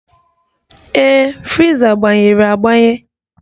Ee, friza gbanyere agbanye.